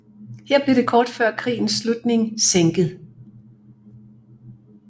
Her blev det kort før krigens slutning sænket